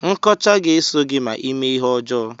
Nkọcha ga-eso gị ma ime ihe ọjọọ.